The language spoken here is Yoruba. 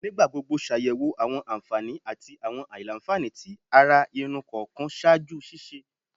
Nigbagbogbo ṣayẹwo awọn anfani ati awọn alailanfani ti ara irun kọọkan ṣaaju ṣiṣe